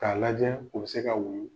K'a lajɛ u bɛ se ka wulu